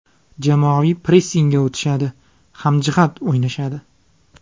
Jamoaviy pressingga o‘tishadi, hamjihat o‘ynashadi.